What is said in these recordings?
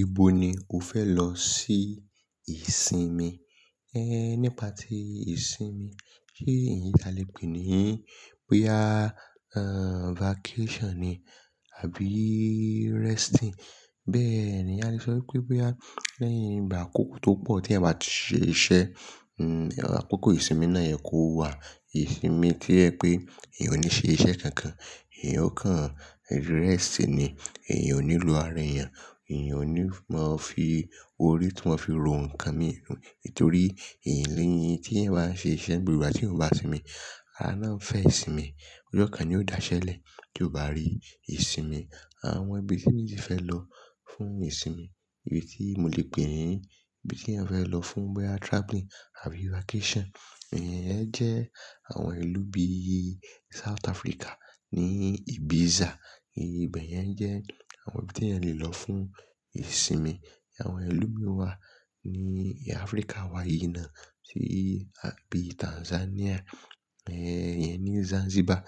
Ibo ni o fẹ lọ sí ìsinmi? Ehn, nípa tí ìsinmi, kí nìyí tí a lè pè é ní? Bóyá ah, vacation ni àbí resting. Bẹ́ẹ̀ ni a lè sọ pé, pé a, léyìn ìgbà àkókò tó pọ̀ tí a bá ti ṣe iṣẹ́, hmm àkókò ìsinmi náà yẹ kó wà. Ìsinmi tí ẹ pé èèyàn ò ní ṣe iṣẹ́ kankan, èèyàn ò kàn resting ni, èèyàn ò ní lo ara èèyàn, èèyàn ò ní máa fi orí tó máa fi rò nǹkan mi, nítorí ìléyìn tí ẹ bá ń ṣe iṣẹ́ gbogbo ìgbà tí ò bá sinmi, alána ń fẹ́ ìsinmi. Ọjọ́ kan ni ó dáṣẹ́ẹlẹ̀ kí o bá rí ìsinmi. Àwọn ibi tí mí ti fẹ lọ fún ìsinmi, éyí tí mo lè pè é, ibi tí èèyàn fẹ lọ fún bíi traveling àbí vacation, èyẹ jẹ́ àwọn ìlú bíi South Africa ní Ibiza. Ìbẹ̀ yẹn jẹ́ àwọn ibi tí èèyàn lè lọ fún ìsinmi. Àwọn ìlú mi wà ní Africa wa yíná, sí àbí Tanzania, eh yẹn ní Zanzibar.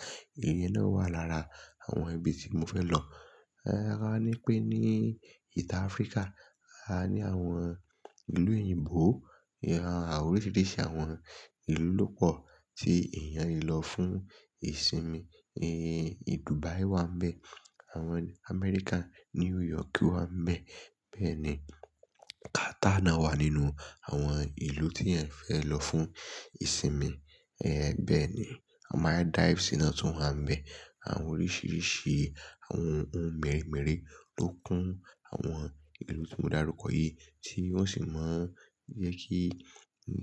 Ìlú náà wà lára àwọn ibi tí mo fẹ lọ. KA ní pé ní ìta Africa, a ní àwọn ìlú òyìnbó, àwọn oríṣiríṣi àwọn ìlú ló pọ̀ tí èèyàn lè lọ fún ìsinmi. Eh, Dubai wà nbẹ, àwọn Amẹ́ríkà, New York wà nbẹ. Bẹ́ẹ̀ ni Qatar náà wà nínú àwọn ìlú tí èèyàn fẹ lọ fún ìsinmi. Eh bẹ́ẹ̀ ni, a máa dive sínú tún wà nbẹ. Àwọn oríṣiríṣi àwọn ohun mèremère ló kún àwọn ìlú tí mo darukọ yìí, tí wọ́n sì máa ń jẹ́ kí--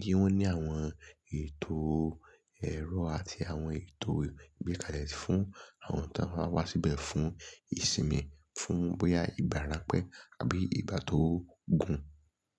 kí wọ́n ní àwọn ètò ẹ̀rọ àti àwọn ètò ìgbékalẹ̀ fún àwọn tí wọ́n bá wá síbẹ̀ fún ìsinmi, fún bóyá ìbára ẹni pẹ́ àbí ìgbà tó gùn.